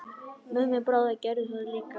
Mummi bróðir gerði það líka.